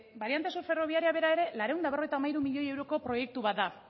bariante sur ferroviaria bera ere laurehun eta berrogeita hamairu milioi euroko proiektu bat da